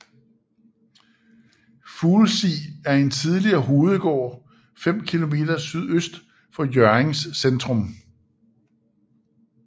Fuglsig er en tidligere hovedgård 5 km sydøst for Hjørrings centrum